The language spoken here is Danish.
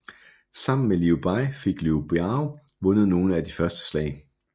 Sammen med Liu Bei fik Liu Biao vundet nogle af de første slag